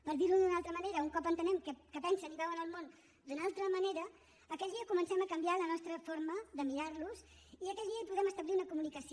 per dir ho d’una altra manera un cop entenem que pensen i veuen el món d’una altra manera aquell dia comencem a canviar la nostra forma de mirar los i aquell dia hi podem establir una comunicació